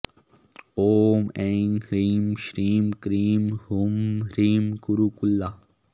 ॐ ऐं ह्रीं श्रीं क्रीं हूं ह्रीं कुरुकुल्ला